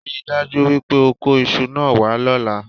Rí i dájú wípé o kó isu náà wá lọ́la